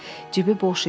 Cibi boş idi.